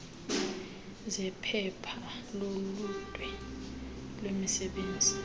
zephepha loludwe lwemisebenzi